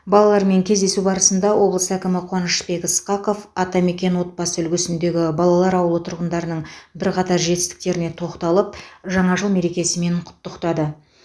балалармен кездесу барысында облыс әкімі қуанышбек ысқақов атамекен отбасы үлгісіндегі балалар ауылы тұрғындарының бірқатар жетістіктеріне тоқталып жаңа жыл мерекесімен құттықтады